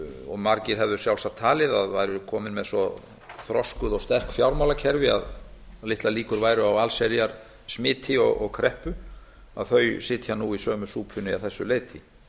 og margir hefðu sjálfsagt talið að væru komin með svo þroskuð fjármálakerfi að litlar líkur væru á allsherjar smiti og kreppum að þau sitja nú í sömu súpunni að þessu leyti